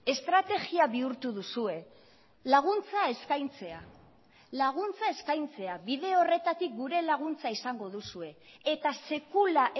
estrategia bihurtu duzue laguntza eskaintzea laguntza eskaintzea bide horretatik gure laguntza izango duzue eta sekula